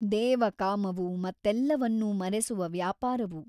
ದೇವ ಕಾಮವು ಮತ್ತೆಲ್ಲವನ್ನೂ ಮರೆಸುವ ವ್ಯಾಪಾರವು.